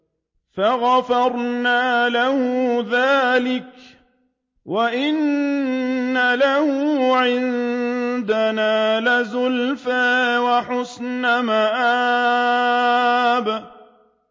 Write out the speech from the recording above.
فَغَفَرْنَا لَهُ ذَٰلِكَ ۖ وَإِنَّ لَهُ عِندَنَا لَزُلْفَىٰ وَحُسْنَ مَآبٍ